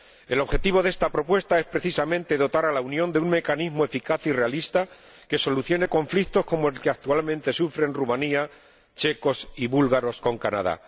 El objetivo de esta propuesta es precisamente dotar a la Unión de un mecanismo eficaz y realista que solucione conflictos como el que actualmente sufren rumanos, checos y búlgaros con Canadá.